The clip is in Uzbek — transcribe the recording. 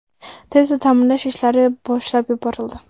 Tezda ta’mirlash ishlari boshlab yuborildi.